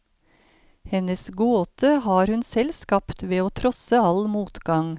Hennes gåte har hun selv skapt ved å trosse all motgang.